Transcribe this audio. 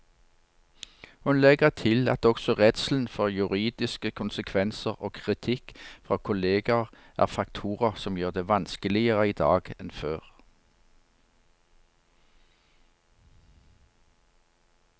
Hun legger til at også redselen for juridiske konsekvenser og kritikk fra kolleger er faktorer som gjør det vanskeligere i dag enn før.